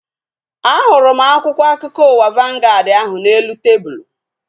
A hụrụ m akwụkwọ akụkọ ụwa vangaad ahu n'elu tebụlu